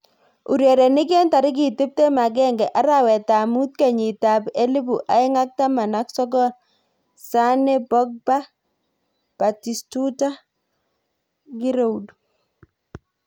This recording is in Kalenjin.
Urerenik eng tarik tiptem agenge arawet ab mut kenyit ab elipu aeng ak taman ak sokol, Sane, Pogba, Batistuta, Giroud.